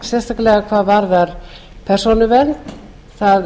sérstaklega hvað varðar persónuvernd það